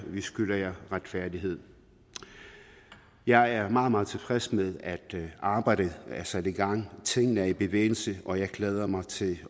at vi skylder jer retfærdighed jeg er meget meget tilfreds med at arbejdet er sat i gang at tingene er i bevægelse og jeg glæder mig til